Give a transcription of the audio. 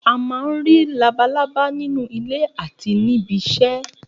A má ń rí labalábá nínú ilé àti ní ibí isẹ́.